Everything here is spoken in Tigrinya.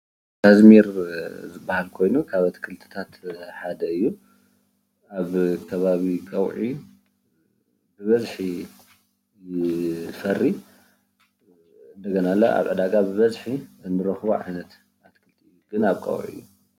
እዚ ካዝሚር ዝበሃል ኮይኑ ካብ ኣትክልትታት ሓደ እዩ፡፡ ኣብ ከባቢ ቀውዒ ብበዝሒ ዝፈርይ እንደገና ኣብ ዕዳጋ እንረኽቦ ዓይነት ኣትክልቲ እዩ፡፡ ግን ኣብ ቀውዒ እዩ፡፡